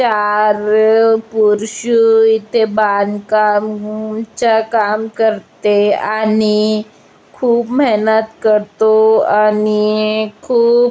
चार पुरुषें इथे बांधकाम च्या काम करते आणि खूप मेहेनत करतो आणि खूप --